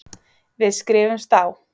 Við skrifumst á.